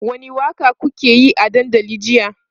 wani Waka kukayi a dandali jiya?